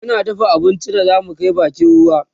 muna dafa abincin da zamu Kai bakin ruwa